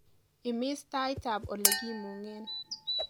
imis tait ab elegimung'en